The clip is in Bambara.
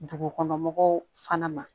Dugukɔnɔ mɔgɔw fana ma